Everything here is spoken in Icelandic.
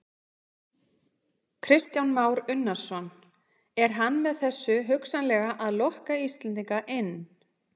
Kristján Már Unnarsson: Er hann með þessu hugsanlega að lokka Íslendinga inn?